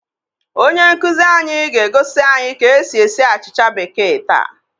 Onye nkuzi anyị ga-egosi anyị ka esi esi achịcha békéè taa